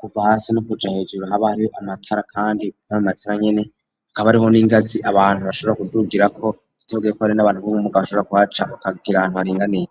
kuva hasi no kuja hejuru habaho amatara, kandi kkara mumatira nyene akaba ariho n'ingazi abantu bashobora kudugirako titogoyeko ari n'abantu b'mwo muga abashobora kwaca ukagira antu aringaniye.